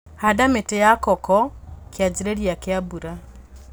Handa mĩti ya koko kĩanjĩrĩria kia mbura.